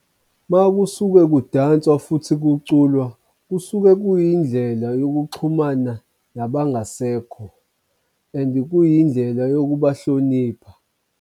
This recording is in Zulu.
Makusuke kudanswa futhi kuculwa kusuke kuyindlela yokuxhumana nabangasekho, and kuyindlela yokubahlonipha.